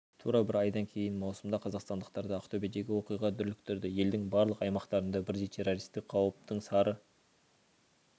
тура бір айдан кейін маусымда қазақстандықтарды ақтөбедегі оқиға дүрліктірді елдің барлық аймақтарында бірдей террористік қауіптің сары